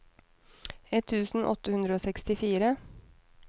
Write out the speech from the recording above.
ett tusen åtte hundre og sekstifire